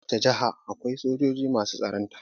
A ko wacce jaha akwai sojoji masu tsaronta